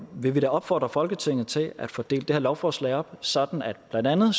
vil vi da opfordre folketinget til at få delt det her lovforslag op sådan at blandt andet